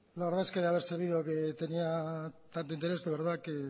la verdad es que de haber sabido que tenía tanto interés de verdad que